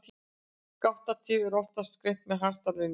Gáttatif er oftast greint með hjartalínuriti.